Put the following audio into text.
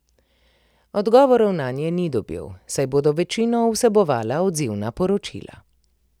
Odgovorov nanje ni dobil, saj bodo večino vsebovala odzivna poročila.